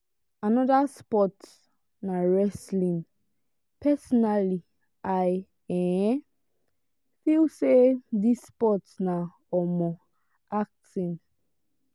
another sports na wrestling. personally i um feel say this sports na um acting.